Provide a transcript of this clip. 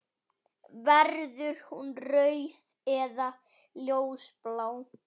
Verður hún rauð eða ljósblá?